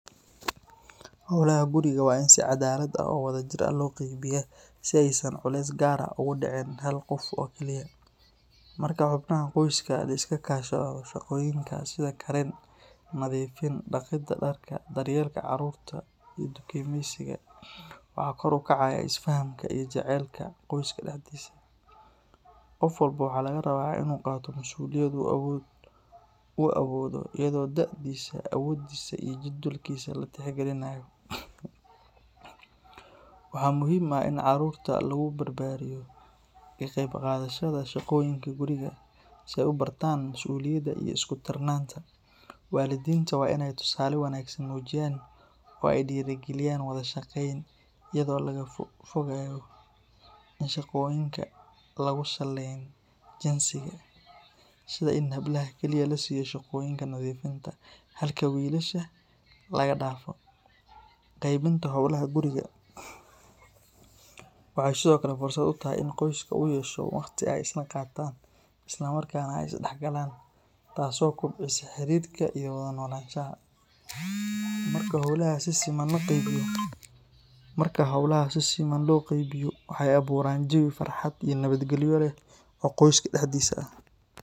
Howlaha guriga waa in si caddaalad ah oo wadajir ah loo qaybiyaa si aysan culays gaar ah ugu dhicin hal qof oo keliya. Marka xubnaha qoyska la iska kaashado shaqooyinka sida karin, nadiifin, dhaqidda dharka, daryeelka carruurta, iyo dukaamaysiga, waxaa kor u kacaya isfahamka iyo jacaylka qoyska dhexdiisa. Qof walba waxaa laga rabaa inuu qaato masuuliyad uu awoodo iyadoo da'diisa, awooddiisa iyo jadwalkiisa la tixgalinayo. Waxaa muhiim ah in carruurta lagu barbaariyo ka qaybqaadashada shaqooyinka guriga si ay u bartaan masuuliyadda iyo isku-tiirsanaanta. Waalidiinta waa inay tusaale wanaagsan muujiyaan oo ay dhiirrigeliyaan wada shaqeyn, iyadoo laga fogaayo in shaqooyinka lagu saleyn jinsiga, sida in hablaha kaliya la siiyo shaqooyinka nadiifinta halka wiilasha laga dhaafo. Qaybinta howlaha guriga waxay sidoo kale fursad u tahay in qoyska uu yeesho waqti ay isla qaataan, isla markaana ay isdhexgalaan, taas oo kobcisa xiriirka iyo wada noolaanshaha. Marka howlaha si siman loo qaybiyo, waxay abuuraan jawi farxad iyo nabadgalyo leh oo qoyska dhexdiisa ah.